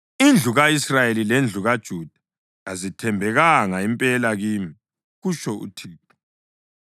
Indlu ka-Israyeli lendlu kaJuda kazithembekanga impela kimi,” kutsho uThixo.